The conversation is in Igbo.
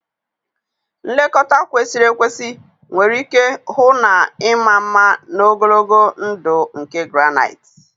Nlekọta kwesịrị ekwesị nwere ike hụ na ịma mma na ogologo ndụ nke granite